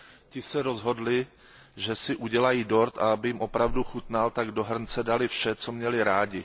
Ti se rozhodli, že si udělají dort, a aby jim opravdu chutnal, tak do hrnce dali vše, co měli rádi.